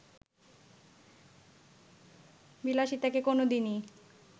বিলাসিতাকে কোন দিনই